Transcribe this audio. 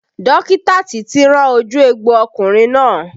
Dókítà títí rán ojú egbò ọkùnrin náà